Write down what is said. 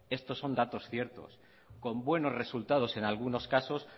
esto son datos ciertos con buenos resultados en algunos casos